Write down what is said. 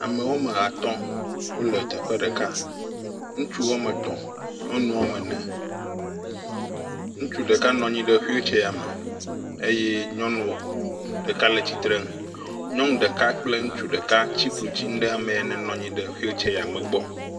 Ame woame atɔ̃ wole teƒe ɖeka, ŋutsu woame etɔ̃, nyɔnu woame ene, ŋutsu ɖeka nɔ anyi ɖe xuiltseya me eye nyɔnu ɖeka le tsitrenu. Nyɔnu ɖeka kple ŋutsu ɖeka tsi klotsinu ɖe ame ya nenɔ anyi ɖe xuiltseya me gbɔ.